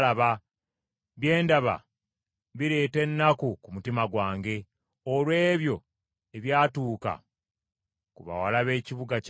Bye ndaba bireeta ennaku ku mutima gwange, olw’ebyo ebyatuuka ku bawala b’ekibuga kyange.